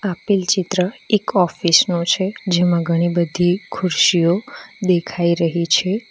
આપેલ ચિત્ર એક ઓફિસ નું છે જેમાં ઘણી બધી ખુરશીઓ દેખાઈ રહી છે.